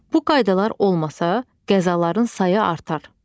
Bu qaydalar olmasa qəzaların sayı artar.